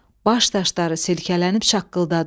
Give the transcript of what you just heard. Baş daşları silkələnib şaqqıldadı.